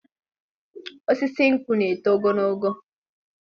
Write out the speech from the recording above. Osisi nkwụ na-eto ogologo.